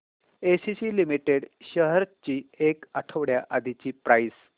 ACC limited shares ची एक आठवड्या आधीची प्राइस